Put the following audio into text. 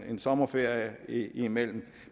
en sommerferie ind imellem